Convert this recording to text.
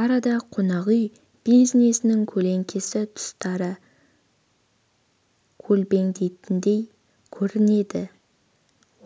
арада қонақүй бизнесінің көлеңкелі тұстары көлбеңдейтіндей көрінеді